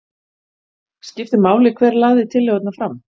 Skiptir mál hver lagði tillögurnar fram